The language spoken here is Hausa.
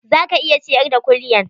Za ka iya ciyar da kulyan?